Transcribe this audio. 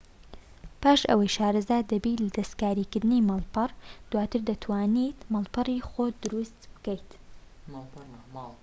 پاش ئەوەی شارەزا دەبیت لە دەستکاریکردنی ماڵپەڕ دواتر دەتوانیت ماڵپەڕی خۆت دروست بکەیت